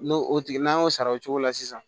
N'o o tigi n'an y'o sara o cogo la sisan